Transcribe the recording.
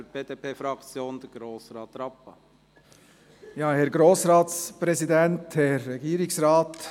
für die BDP-Fraktion: Herr Grossrat Rappa.